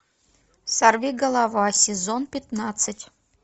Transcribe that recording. сорвиголова сезон пятнадцать